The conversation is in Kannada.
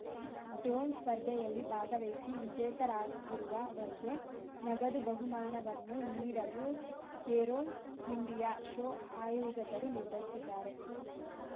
ಡ್ರೋನ್‌ ಸ್ಪರ್ಧೆಯಲ್ಲಿ ಭಾಗವಹಿಸಿ ವಿಜೇತರಾಗಿರುವ ವರಿಗೆ ನಗದು ಬಹುಮಾನವನ್ನು ನೀಡಲು ಏರೋ ಇಂಡಿಯಾ ಶೋ ಆಯೋಜಕರು ನಿರ್ಧರಿಸಿದ್ದಾರೆ